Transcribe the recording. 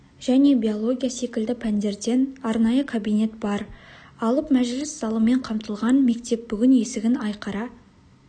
және биология секілді пәндерден арнайы кабинет бар алып мәжіліс залымен қамтылған мектеп бүгін есігін айқара